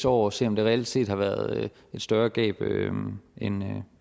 år og se om der reelt set har været et større gab end